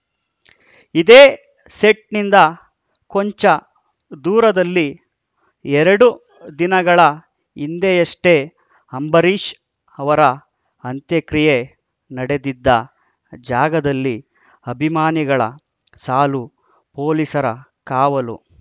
ಇದೇ ಸೆಟ್‌ನಿಂದ ಕೊಂಚ ದೂರದಲ್ಲಿ ಎರಡು ದಿನಗಳ ಹಿಂದೆಯಷ್ಟೆ ಅಂಬರೀಷ್‌ ಅವರ ಅಂತ್ಯಕ್ರಿಯೆ ನಡೆದಿದ್ದ ಜಾಗದಲ್ಲಿ ಅಭಿಮಾನಿಗಳ ಸಾಲು ಪೊಲೀಸರ ಕಾವಲು